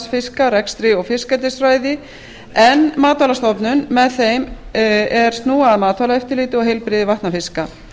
ferskvatnsfiska rekstri og fiskeldisfræði en matvælastofnun með þeim er snúa að matvælaeftirliti og heilbrigði vatnafiska